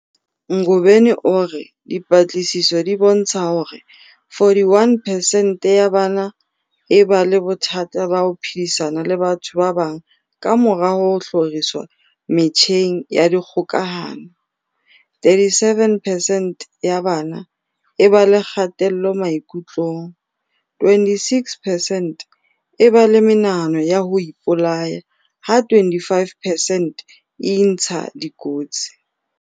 Ngobeni o re dipatlisiso di bontsha hore 41 percent ya bana e ba le bothata ba ho phedisana le batho ba bang kamora ho hloriswa metjheng ya dikgokahano, 37 percent ya bana e ba le kgatello maikutlong, 26 percent e ba le menahano ya ho ipolaya ha 25 percent e intsha dikotsi.